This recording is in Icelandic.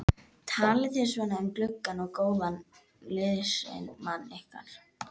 Talið þið svona um gamlan og góðan liðsmann ykkar?